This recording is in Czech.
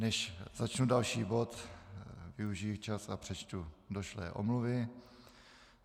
Než začnu další bod, využiji čas a přečtu došlé omluvy.